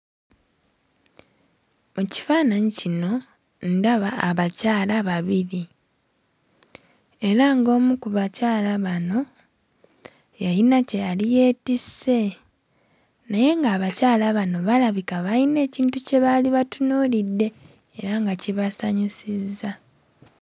Mu kifaananyi kino ndaba abakyala babiri. Era ng'omu ku bakyala bano yayina kye yali yeetisse. Naye ng'abakyala bano balabika bayina ekintu kye baali batunuulidde era nga kibasanyusuzza.